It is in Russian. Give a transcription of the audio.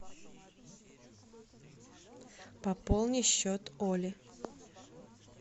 пополни счет оли